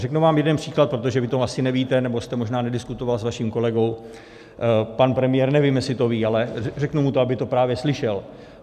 Řeknu vám jeden příklad, protože vy to asi nevíte, nebo jste možná nediskutoval s vaším kolegou, pan premiér nevím, jestli to ví, ale řeknu mu to, aby to právě slyšel.